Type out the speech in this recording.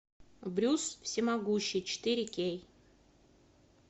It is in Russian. брюс всемогущий четыре кей